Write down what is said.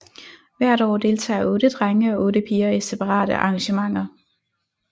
Hvert år deltager otte drenge og otte piger i separate arrangementer